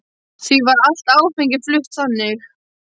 Því var allt áfengi flutt þannig.